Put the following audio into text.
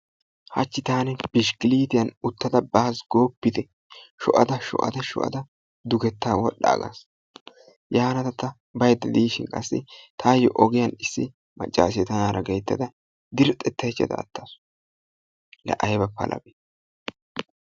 Hachchi taani qa bishkkiliittiya uttada baas gooppite! Sho'ada sho'ada sho'ada duggetaa wodhdhaagas, yaana ta baydda diishin qassi taayo ogiyan issi maccassiya tanaara gayttada dirxxettaychada attaasu, laa ayba palabee